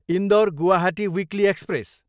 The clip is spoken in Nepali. Indore, Guwahati weekly express